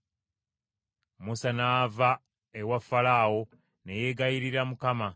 Musa n’ava ewa Falaawo ne yeegayirira Mukama .